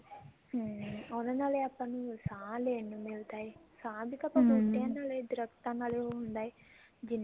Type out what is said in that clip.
ਹਮ ਉਹਨਾ ਨਾਲ ਹੀ ਆਪਾਂ ਨੂੰ ਸਾਂਹ ਲੈਣ ਨੂੰ ਮਿਲਦਾ ਹੈ ਸਾਂਹ ਵੀ ਪਤਾ ਨਾਲ ਹੀ ਦਰਖਤਾਂ ਨਾਲ ਹੀ ਉਹ ਹੁੰਦਾ ਹਿਆ ਜਿਹਨਾ